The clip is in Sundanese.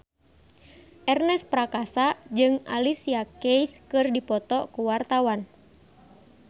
Ernest Prakasa jeung Alicia Keys keur dipoto ku wartawan